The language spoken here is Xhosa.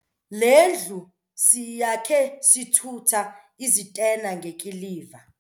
Le ndlu siyakhe sithutha izitena ngekiliva.